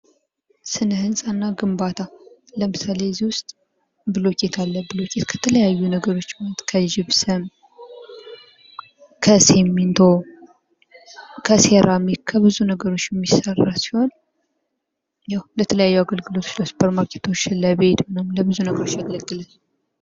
ስነ ሕንፃና ግንባታ ለምሳሌ እዚህ ዉስጥ ብሎኬት አለ ብሎኬት ከተለያዩ ነገሮች ማለትም ከጅፕሰም ከሲሚንቶ ከሴራሚክ ከብዙ ነገሮች የሚሰራ ሲሆን ያው ለተለያዩ አገልግልቶች ለሱፐርማርከቶች ለቤት ለተለያዩ አገልግሎቶች ያገለጋል::